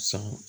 San